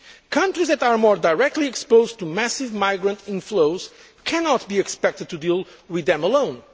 Countries that are more directly exposed to massive migrant inflows cannot be expected to deal with them alone.